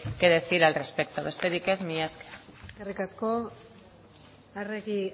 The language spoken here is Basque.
que decir al respecto besterik ez mila esker eskerrik asko arregi